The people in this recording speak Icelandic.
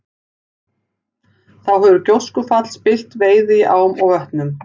Þá hefur gjóskufall spillt veiði í ám og vötnum.